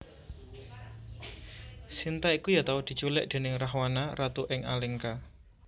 Sinta iku ya tau diculik déning Rahwana Ratu ing Alengka